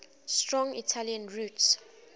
strong italian roots